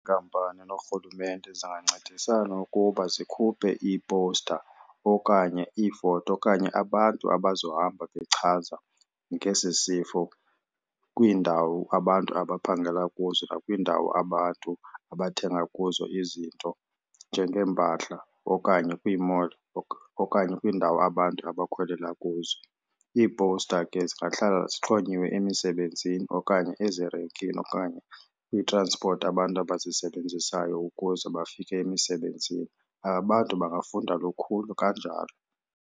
Iinkampani noRhulumente zingancedisana ukuba zikhuphe iipowusta okanye iifoto okanye abantu abazohamba bechaza ngesi sifo kwiindawo abantu abaphangela kuzo nakwiindawo abantu abathenga kuzo izinto njengeempahla, okanye kwii-mall, okanye kwiindawo abantu abakhwelela kuzo. Iipowusta ke zingahlala zixhonyiweyo emisebenzini okanye ezirenkini okanye kwiitranspoti abantu abazisebenzisayo ukuze bafike emisebenzini. Abantu bangafunda lukhulu kanjalo.